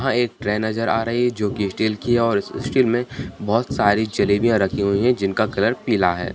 यहां एक ट्रे नजर आ रही है जो कि स्टील की है और इस स्टील में बहुत सारी जलेबियॉ रखी हुई हैं जिनका कलर पीला है।